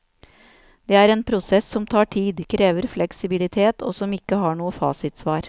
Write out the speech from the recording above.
Det er en prosess som tar tid, krever fleksibilitet og som ikke har noen fasitsvar.